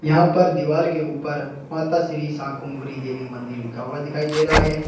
यहां पर दीवाल के ऊपर माता श्री शाकुंभरी देवी मंदिर लिखा हुआ दिखाई दे रहा है।